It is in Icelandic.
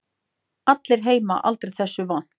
Allir heima aldrei þessu vant.